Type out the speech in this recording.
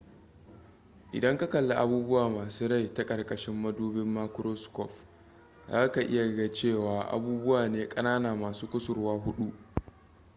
idan ka kalli abubuwa masu rai ta ƙarƙashin madubin makuroskof za ka ga cewa abubuwa ne ƙanana masu kusurwa huɗu